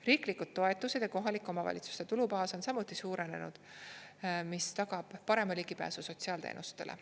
Riiklikud toetused ja kohalike omavalitsuste tulubaas on samuti suurenenud, mis tagab parema ligipääsu sotsiaalteenustele.